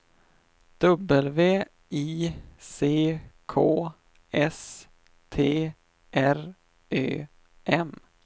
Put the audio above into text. W I C K S T R Ö M